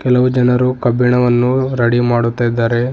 ಹಲವು ಜನರು ಕಬ್ಬಿಣವನ್ನು ರೆಡಿ ಮಾಡುತ್ತಾಯಿದ್ದಾರೆ.